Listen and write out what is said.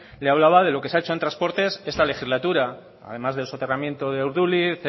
le hablaba de lo que se ha hecho en transportes esta legislatura además del soterramiento de urduliz